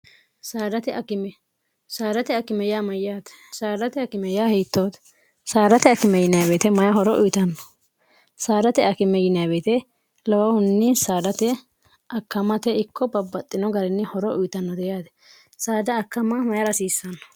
sadate akimey mayyaate sdat kimey hiittoote saadate akime yinbeete mayi horo uyitanno saadate akime yinbeete lowahunni saadate akkamate ikko babbaxxino garinni horo uyitannote yaate saada akkama may rasiissanno